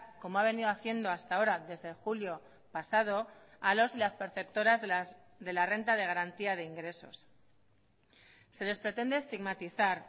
como ha venido haciendo hasta ahora desde julio pasado a los y las perceptoras de la renta de garantía de ingresos se les pretende estigmatizar